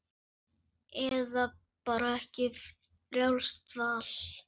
Eða bara ekki, frjálst val.